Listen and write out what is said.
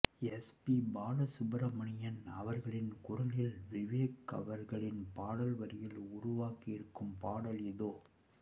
S P Balasubrahmanyam அவர்களின் குரலில் விவேக் அவர்களின் பாடல் வரிகளில் உருவாகியிருக்கும் பாடல் இதோ